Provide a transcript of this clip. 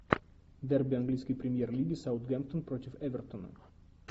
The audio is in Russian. дерби английской премьер лиги саутгемптон против эвертона